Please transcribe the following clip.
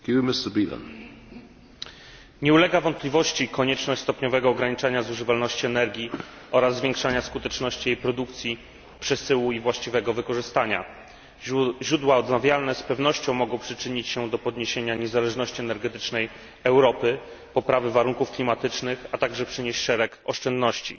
Panie Przewodniczący! Nie ulega wątpliwości konieczność stopniowego ograniczania zużywalności energii oraz zwiększania skuteczności jej produkcji, przesyłu i właściwego wykorzystania. Źródła odnawialne z pewnością mogą przyczynić się do zwiększenia niezależności energetycznej Europy, poprawy warunków klimatycznych, a także przynieść szereg oszczędności.